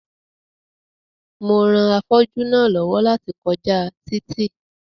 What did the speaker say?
Mo ran afọ́jú náà lọ́wọ́ láti kọjá títì